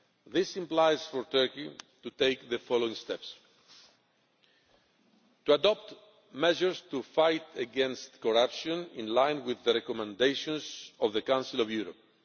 This implies for Turkey to take the following steps to adopt measures to fight against corruption in line with the recommendations of the Council of Europe